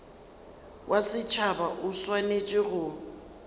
wa setšhaba o swanetše go